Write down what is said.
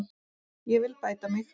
Ég vil bæta mig.